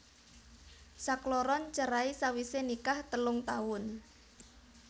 Sakloron cerai sawisé nikah telung taun